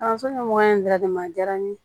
Kalanso ɲɛmɔgɔ in bɛɛ de ma diyara ne ye